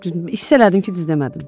Hiss elədim ki, düz demədim.